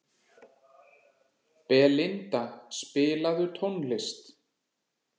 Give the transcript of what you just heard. Belinda, spilaðu tónlist.